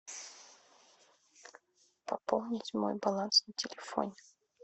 пополнить мой баланс на телефоне